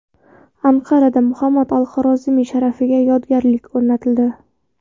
Anqarada Muhammad al-Xorazmiy sharafiga yodgorlik o‘rnatildi.